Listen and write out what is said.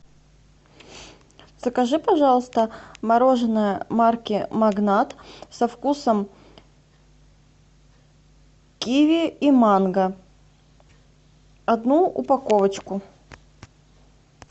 закажи пожалуйста мороженое марки магнат со вкусом киви и манго одну упаковочку